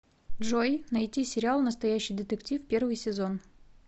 джой найти сериал настоящий детектив первый сезон